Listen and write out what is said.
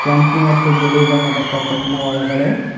ಕೆಂಪು ಮತ್ತು ಬಿಳಿ ಬಣ್ಣದ ಕಫಟಿನ ಒಳಗಡೆ--